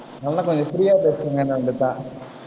நல்லா கொஞ்சம் free அ